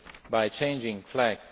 by changing flag.